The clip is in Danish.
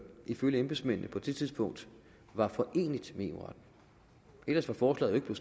ifølge embedsmændene på det tidspunkt var foreneligt med eu retten ellers var forslaget jo